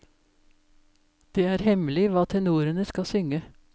Det er hemmelig hva tenorene skal synge.